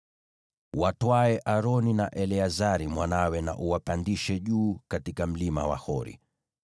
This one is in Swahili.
Watwae Aroni na Eleazari mwanawe, na uwapandishe juu katika Mlima wa Hori.